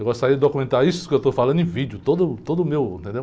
Eu gostaria de documentar isso que eu estou falando em vídeo, todo, todo o meu, entendeu?